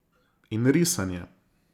In risanje.